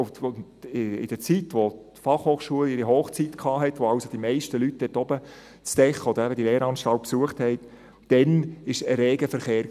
In der Zeit, in der die BFH ihre Hochzeit hatte, in der also die meisten Leute nach dort oben kamen, diese Lehranstalt besuchten, war es ein reger Verkehr.